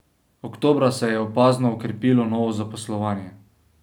Oktobra se je opazno okrepilo novo zaposlovanje.